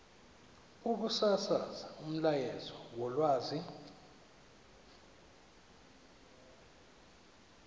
ukusasaza umyalezo wolwazi